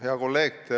Hea kolleeg!